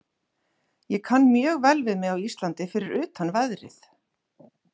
Ég kann mjög vel við mig á Íslandi fyrir utan veðrið.